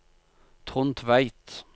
Trond Tveit